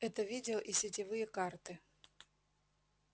это видео и сетевые карты